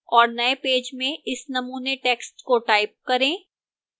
और नए पेज में इस नमूने text को type करें